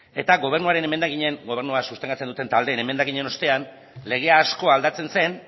eta gobernua sustengatzen duten taldeen emendakinen ostean legea asko aldatzen zen